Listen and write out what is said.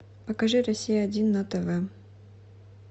покажи россия один на тв